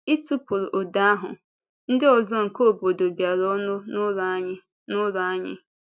Ịtụpụrụ ụda ahụ, ndị ọzọ nke obodo bịara ọnụ n’ụlọ anyị. n’ụlọ anyị.